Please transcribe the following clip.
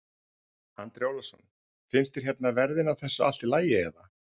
Andri Ólafsson: Finnst þér hérna verðin á þessu allt í lagi eða?